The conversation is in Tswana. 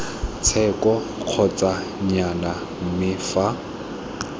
tsheko kgotsa nnyaya mme fa